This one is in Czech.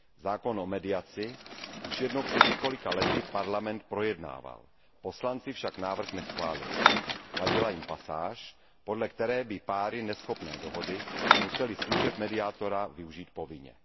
Zákon o mediaci už jednou, před několika lety, Parlament projednával, poslanci však návrh neschválili. Vadila jim pasáž, podle které by páry neschopné dohody musely služeb mediátora využít povinně.